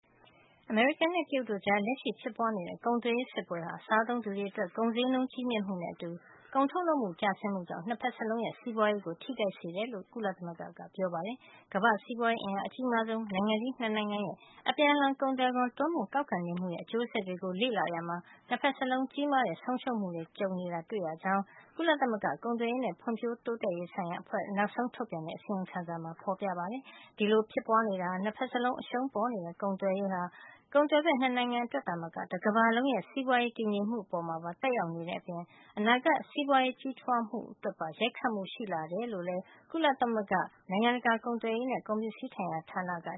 အမေရိကန်နဲ့ တရုတ်တို့ကြား လက်ရှိဖြစ်ပွားနေတဲ့ ကုန်သွယ်ရေးစစ်ပွဲဟာ စားသုံးသူတွေ အတွက် ကုန်ဈေးနှုန်းကြီးမြင့်မှုနဲ့အတူ ထုတ်ကုန်ကျဆင်းမှုကြောင့် နှစ်ဘက်စလုံးရဲ့ စီးပွားရေး ကို ထိခိုက်စေတယ်လို့ ကုလသမဂ္ဂက ပြောလိုက်ပါတယ်။ ကမ္ဘာ့စီးပွားရေးအင်အားအကြီးမားဆုံး နိုင်ငံကြီး နှစ်နိုင်ငံရဲ့ အပြန်အလှန် ကုန်သွယ်ခွန် တိုးမြှင့်ကောက်ခံနေမှုရဲ့ အကျိုးဆက်တွေကို လေ့လာရာမှာ နှစ်ဘက်စလုံး ကြီးမားတဲ့ ဆုံးရှုံးမှု တွေ ကြုံနေရတာကို တွေ့ရှိခဲ့ရကြောင်း ကုလသမဂ္ဂ ကုန်သွယ်ရေးနဲ့ ဖွံ့ဖြိုးတိုးတက်ရေးဆိုင်ရာ အဖွဲ့ (UNCTAD) က နောက်ဆုံး ထုတ်ပြန်လိုက်တဲ့ အစီရင်ခံစာမှာ ဖော်ပြထားပါတယ်။ ဒီလို ဖြစ်ပွားနေတာကနေ နှစ်ဘက်စလုံး အရှုံးပေါ်နေတဲ့ ကုန်သွယ်ရေးဟာ ကုန်သွယ်ဘက် နှစ်နိုင်ငံအတွက်သာမက တကမ္ဘာလုံးရဲ့ စီးပွားရေး တည်ငြိမ်မှုအပေါ် သက်ရောက်နေတဲ့အပြင် အနာဂတ် စီးပွားရေးကြီးထွားမှုအတွက်ပါ ရိုက်ခတ်မှု ရှိလာတယ်လို့လည်း UNCTAD ရဲ့ နိုင်ငံတကာ ကုန်သွယ်ရေးနဲ့ ကုန်ပစ္စည်းဆိုင်ရာဌာနက